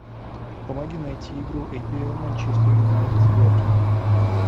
помоги найти игру апл манчестер юнайтед с бернли